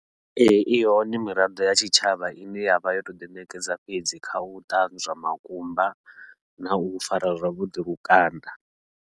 Ee, i hone miraḓo ya tshitshavha ine yavha yo tou ḓi ṋekedza fhedzi, kha u ṱanzwa makumba nau fara zwavhuḓi lukanda.